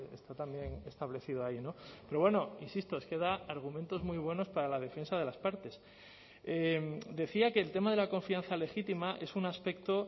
está también establecido ahí pero bueno insisto es que da argumentos muy buenos para la defensa de las partes decía que el tema de la confianza legítima es un aspecto